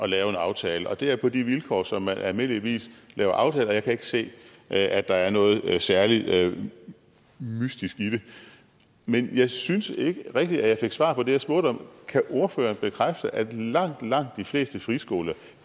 lave en aftale og det er på de vilkår som man almindeligvis lave aftaler på jeg kan ikke se at at der er noget særlig mystisk i det men jeg synes ikke rigtigt at jeg fik svar på det jeg spurgte om kan ordføreren bekræfte at langt langt de fleste friskoler